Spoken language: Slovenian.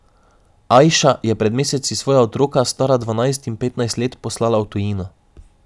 Ajša je pred meseci svoja otroka, stara dvanajst in petnajst let, poslala v tujino.